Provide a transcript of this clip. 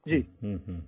ओह my गोड